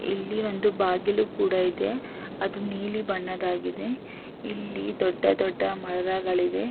ಈ ಚಿತ್ರದಲ್ಲಿ ಒಂದು ದೊಡ್ಡ ಕಟ್ಟಡವಿದೆ ಈ ಕಟ್ಟಡದ ಬಣ್ಣ ಬಿಳಿಯ ಬಣ್ಣದಾಗಿದೆ.